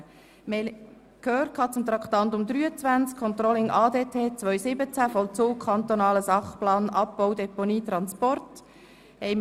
Nun sind wir bei Traktandum 23, Controlling ADT 2017, Vollzug des Kantonalen Sachplans Abbau, Deponie, Transporte.